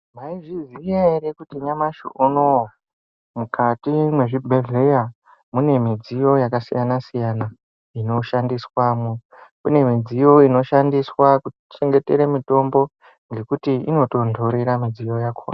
Maizviziya kuti nyamashi unowu mukati mezvibhehleya mune midziyo yakasiyana siyana inoshandiswamwo, kune midziyo inoshandiswa kuchengetere mitombo ngekuti inotondorera midziyo yakona.